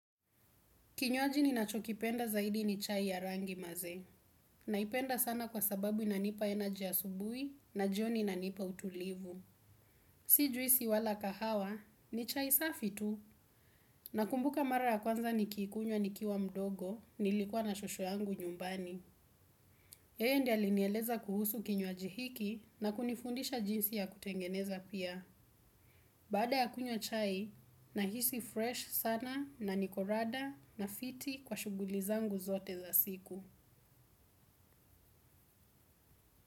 Kinywaji ninachokipenda zaidi ni chai ya rangi maze. Naipenda sana kwa sababu inanipa energy asubuhi na jioni inanipa utulivu. Si juisi wala kahawa ni chai safi tu nakumbuka mara ya kwanza nikiikunywa nikiwa mdogo nilikuwa na shosho yangu nyumbani yeye ndiye alinieleza kuhusu kinywaji hiki na kunifundisha jinsi ya kutengeneza pia. Baada ya kunywa chai, nahisi fresh sana na niko rada na fiti kwa shuguli zangu zote za siku.